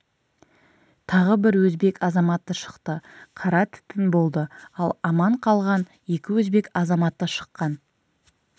тағы бір өзбек азаматы шықты қара түтін болды ал аман қалған екі өзбек азаматы шыққан